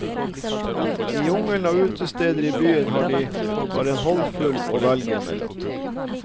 I jungelen av utesteder i byen har de bare en håndfull å velge mellom.